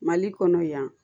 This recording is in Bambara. Mali kɔnɔ yan